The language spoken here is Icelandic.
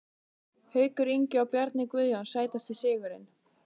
Haukur Ingi og Bjarni Guðjóns Sætasti sigurinn?